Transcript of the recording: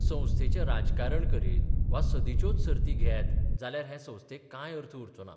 संस्थेचें राजकारण करीत वा सदींच्योच सर्ती घेत जाल्यार हे संस्थेक कांय अर्थ उरचो ना.